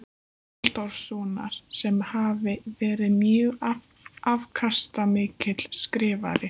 Halldórssonar, sem hafi verið mjög afkastamikill skrifari.